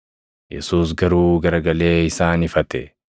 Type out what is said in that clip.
Yesuus garuu garagalee isaan ifate.